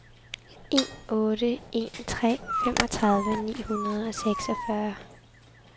en otte en tre femogtredive ni hundrede og seksogfyrre